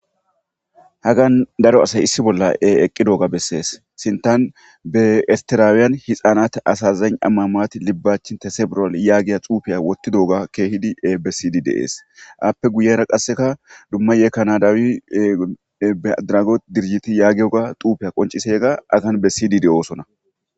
Hagan daro asay issi bolla eeqqi dooga bessees sintan be estiraawiyan hixaanat asazayn ammamaati libbachi tesebural yaagiya xuufiya wotti dooga keehidi e besidi deees appe guyera qasseka dumma yee kanadaawi bedrago dirjiti yaagiyoga xuufiya qoncisega agan bessidi de'oosona.